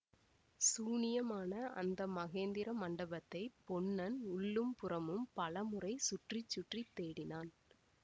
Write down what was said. சூனியமான அந்த மகேந்திர மண்டபத்தைப் பொன்னன் உள்ளும் புறமும் பலமுறை சுற்றி சுற்றி தேடினான்